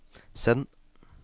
send